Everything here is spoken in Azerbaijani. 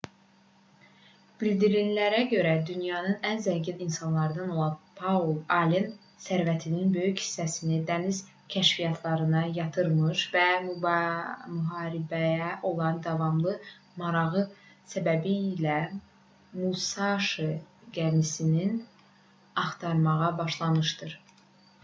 bildirilənlərə görə dünyanın ən zəngin insanlarından olan paul allen sərvətinin böyük hissəsini dəniz kəşfiyyatlarına yatırmış və müharibəyə olan davamlı marağı səbəbilə musaşi gəmisini axtarmağa başlamışdır